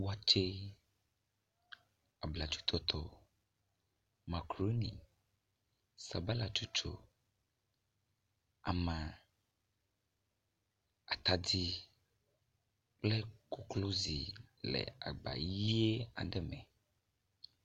Watsɛ, abladzotɔtɔ, makaɖoni, sabalatsotso, ama, atadi kple koklozi le agba ʋi aɖe me.